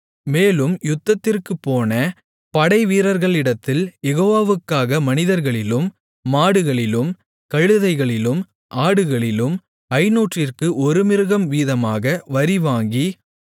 மேலும் யுத்தத்திற்குப் போன படைவீரர்களிடத்தில் யெகோவாக்காக மனிதர்களிலும் மாடுகளிலும் கழுதைகளிலும் ஆடுகளிலும் ஐந்நூற்றிற்கு ஒரு மிருகம் வீதமாக வரி வாங்கி